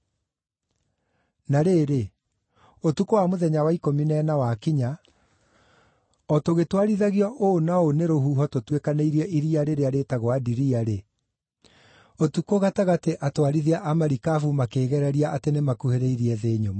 Na rĩrĩ, ũtukũ wa mũthenya wa ikũmi na ĩna wakinya, o tũgĩtwarithagio ũũ na ũũ nĩ rũhuho tũtuĩkanĩirie iria rĩrĩa rĩĩtagwo Adiria-rĩ, ũtukũ gatagatĩ atwarithia a marikabu makĩgereria nĩmakuhĩrĩirie thĩ nyũmũ.